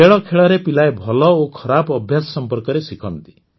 ଖେଳଖେଳରେ ପିଲାଏ ଭଲ ଓ ଖରାପ ଅଭ୍ୟାସ ସମ୍ପର୍କରେ ଶିଖନ୍ତି